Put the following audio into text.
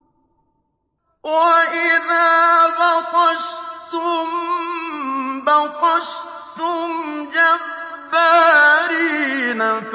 وَإِذَا بَطَشْتُم بَطَشْتُمْ جَبَّارِينَ